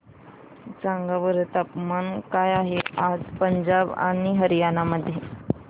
सांगा बरं तापमान काय आहे आज पंजाब आणि हरयाणा मध्ये